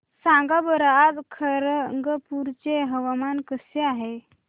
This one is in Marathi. सांगा बरं आज खरगपूर चे हवामान कसे आहे